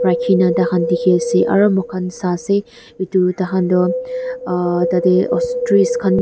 rakhina taihan dikhi ase aru moikhan sai she itu taikhan tu aah tateh ostrees khan.